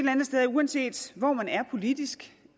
uanset hvor man er politisk